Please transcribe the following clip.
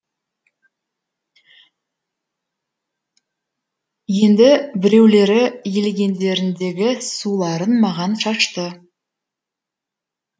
енді біреулері елегендеріндегі суларын маған шашты